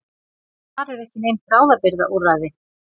Þar eru ekki nein bráðabirgðaúrræði.